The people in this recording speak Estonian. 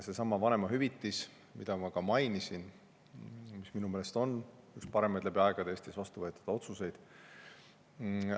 Seesama vanemahüvitis, mida ma ka mainisin, on minu meelest üks parimaid otsuseid, mis läbi aegade Eestis on vastu võetud.